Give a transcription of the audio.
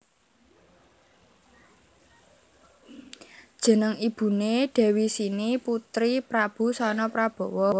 Jeneng ibuné Dewi Sini putri Prabu Sanaprabawa